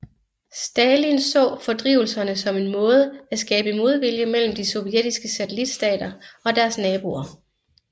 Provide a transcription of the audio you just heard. Stalin så fordrivelserne som en måde at skabe modvilje mellem de sovjetiske satellitstater og deres naboer